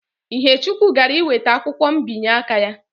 Ihechukwu gara iweta akwụkwọ mbinye aka ya